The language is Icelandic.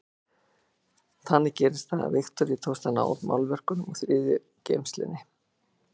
Þannig gerðist það að Viktoríu tókst að ná málverkunum úr þriðju geymslunni.